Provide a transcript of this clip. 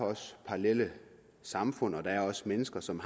parallelle samfund og der er også mennesker som